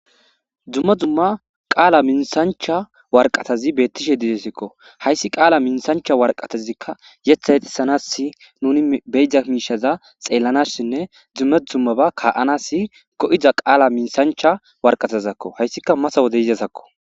Dumma dumma qaala minththancha waraqatazi bettishe de'ese. Hayssi qaala minththncha waraqatazikka yeththa yexxisanassi nuni be'iza miishsha xeelanasinee dumma dumma ba ka'anasi ga'iza qaala minththanch Waraqatazakko.Hayssika matta wode yidaysakko.